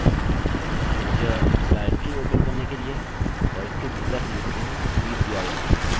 और इसके भीतर हम लिखते हैं read dir डाइरेक्टरी को पढ़ने के लिए